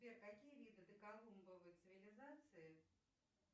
сбер какие виды доколумбовой цивилизации